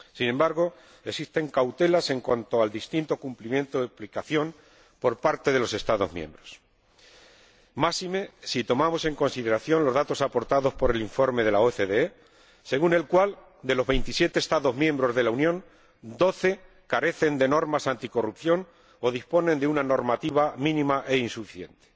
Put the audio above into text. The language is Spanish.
Sin embargo, existen cautelas en cuanto al distinto cumplimiento de la aplicación por parte de los Estados miembros, máxime si tomamos en consideración los datos aportados por el informe de la OCDE, según el cual, de los 27 Estados miembros de la Unión, doce carecen de normas anticorrupción o disponen de una normativa mínima e insuficiente.